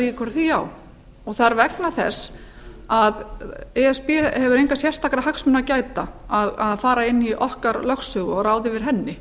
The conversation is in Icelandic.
líkur á því það er vegna þess að e s b hefur engra sérstakra hagsmuna að gæta að fara inn í okkar lögsögu og ráða yfir henni